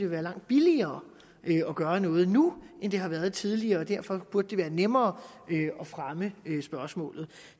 være langt billigere at gøre noget nu end det har været tidligere og derfor burde det være nemmere at fremme spørgsmålet